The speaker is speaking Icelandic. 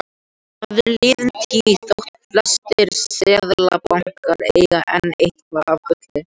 Það er liðin tíð þótt flestir seðlabankar eigi enn eitthvað af gulli.